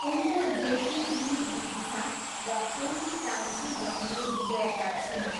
उनको जेठी दिदी बिदिशा र एउटी कान्छी बहिनी विजयता छिन्।